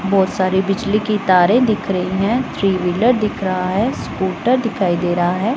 बहुत सारी बिजली की तारे दिख रही है। थ्री व्हीलर दिख रहा है। स्कूटर दिखाई दे रहा है।